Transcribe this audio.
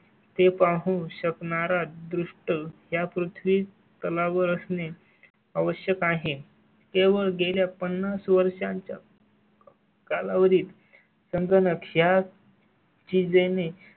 ते पाहू शकणारा द्रुष्ट या पृथ्वी तला वर असणे आवश्यक आहे. केवळ गेल्या पन्नास वर्षांच्या. कालावधीत समजा लक्षात. ची जे ने